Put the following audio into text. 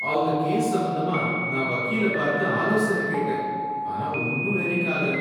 அவங்க கேஸ் சம்பந்தமா நான் வக்கீல பார்த்து ஆலோசனை கேட்டேன், ஆனா ஒன்னும் வேலைக்கு ஆகல!